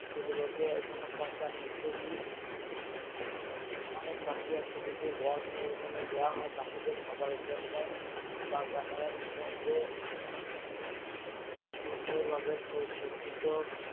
সেখানে ওগুলোকে পচাতে দিই অনেক পাখি আসে দুটো গম নিয়ে ওখানে দেওয়া হয় পাখিদের খাবারের জন্যে। বাগানের মধ্যে সুন্দর ভাবে স্বসজ্জিত